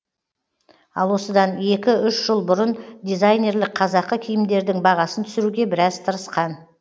ал осыдан екі үш жыл бұрын дизайнерлік қазақы киімдердің бағасын түсіруге біраз тырысқан